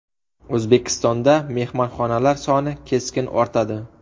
O‘zbekistonda mehmonxonalar soni keskin ortadi.